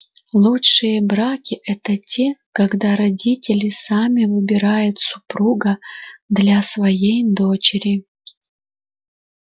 лучшие браки это те когда родители сами выбирают супруга для своей дочери